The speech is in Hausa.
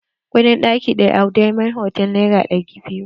Kuɗin ɗaki ɗaya a dimond hotal nera ɗari biyu.